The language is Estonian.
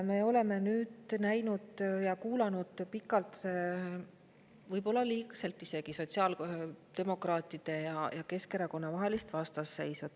Me oleme nüüd näinud ja kuulanud pikalt, võib-olla liigselt isegi, sotsiaaldemokraatide ja Keskerakonna vahelist vastaseisu.